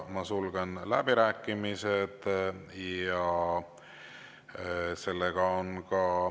Sulgen läbirääkimised.